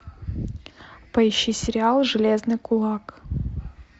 поищи сериал железный кулак